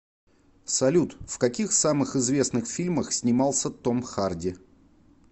салют в каких самых известных фильмах снимался том харди